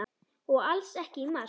Og alls ekki í mars.